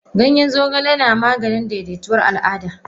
Ganyen zogale na Maganin daidaituwar Al Ada.